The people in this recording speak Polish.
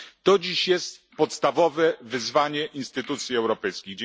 To dziś jest podstawowe wyzwanie instytucji europejskich.